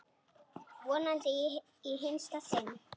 Vonandi í hinsta sinn.